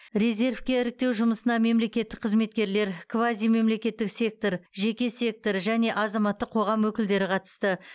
резервке іріктеу жұмысына мемлекеттік қызметкерлер квазимемлекеттік сектор жеке сектор және азаматтық қоғам өкілдері қатысты